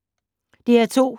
DR2